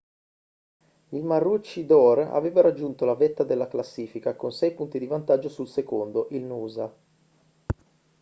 il maroochydore aveva raggiunto la vetta della classifica con sei punti di vantaggio sul secondo il noosa